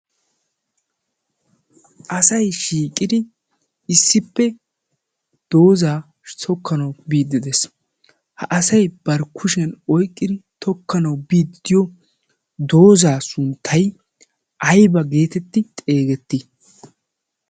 asay shiiqidi issippe doozaa sokkanau biiddidees. ha asay barkkushiyan oiqqidi tokkanau biiddiyo doozaa sunttay aiba geetetti xeegettii?